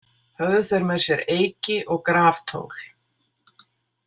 Höfðu þeir með sér eyki og graftól.